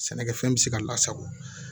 Sɛnɛkɛfɛn bɛ se ka lasago